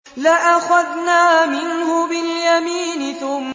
لَأَخَذْنَا مِنْهُ بِالْيَمِينِ